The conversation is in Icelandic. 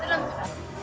það